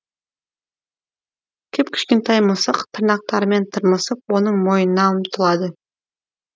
кіп кішкентай мысық тырнақтарымен тырмысып оның мойнына ұмтылады